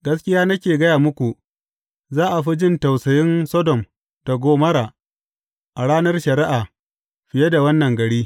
Gaskiya nake gaya muku, za a fi jin tausayin Sodom da Gomorra a ranar shari’a fiye da wannan gari.